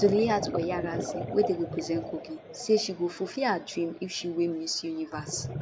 zuleihat oyarazi wey dey represent kogi say she go fulfil her dream if she win miss universe